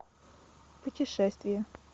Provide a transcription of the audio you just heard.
путешествия